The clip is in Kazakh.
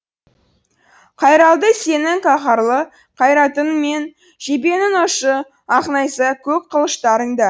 қайралды сенің қаһарлы қайратыңмен жебенің ұшы ақ найза көк қылыштарың да